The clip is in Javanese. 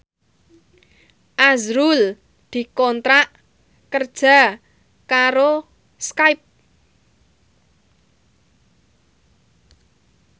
azrul dikontrak kerja karo Skype